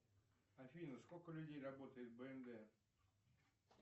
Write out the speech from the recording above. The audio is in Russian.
афина сколько людей работает в бнд